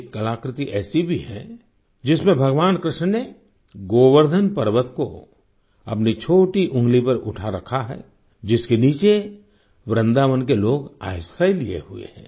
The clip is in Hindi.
एक कलाकृति ऐसी भी है जिसमें भगवान कृष्ण ने गोवर्धन पर्वत को अपनी छोटी उंगली पर उठा रखा है जिसके नीचे वृंदावन के लोग आश्रय लिए हुए हैं